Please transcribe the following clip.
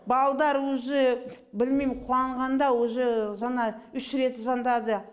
баладар уже білмейім қуанғанда уже жаңа үш рет звондады